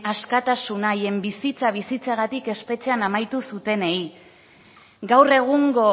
askatasuna haien bizitza bizitzeagatik espetxean amaitu zutenei gaur egungo